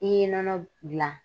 I ye nɔnɔ dilan